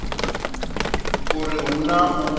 uri u hu na u